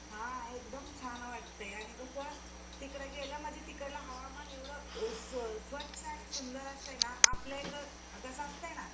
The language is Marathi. हा एकदम छान वाटय आणि कसं तिकडं गेलं म्हणजे तिकडलं हवामान एवढ स्वच्छ आणि सुंदर असतंयना आपल्या इकडं कस असतयना